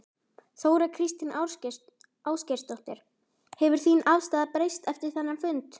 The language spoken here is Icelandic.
Þóra Kristín Ásgeirsdóttir: Hefur þín afstaða breyst eftir þennan fund?